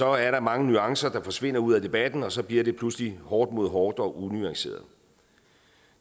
er der mange nuancer der forsvinder ud af debatten og så bliver det pludselig hårdt mod hårdt og unuanceret